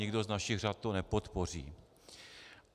Nikdo z našich řad to nepodpoří.